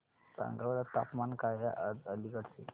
सांगा बरं तापमान काय आहे आज अलिगढ चे